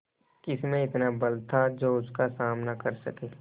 किसमें इतना बल था जो उसका सामना कर सके